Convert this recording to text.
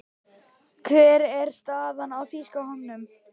Hver er staðan á þýska hópnum?